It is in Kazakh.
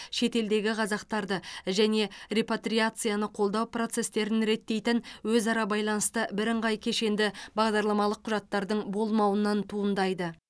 шетелдегі қазақтарды және репатриацияны қолдау процестерін реттейтін өзара байланысты бірыңғай кешенді бағдарламалық құжаттардың болмауынан туындайды